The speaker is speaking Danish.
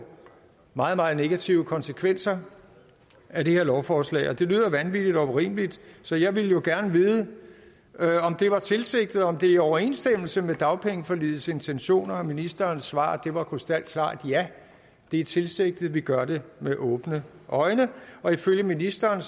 meget meget negative konsekvenser af det her lovforslag og det lyder vanvittigt og urimeligt så jeg ville jo gerne vide om det var tilsigtet og om det er i overensstemmelse med dagpengeforligets intentioner at ministerens svar var krystalklart ja det er tilsigtet vi gør det med åbne øjne og ifølge ministeren